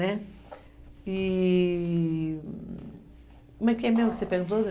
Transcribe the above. Né, e... Como é que é mesmo que você perguntou?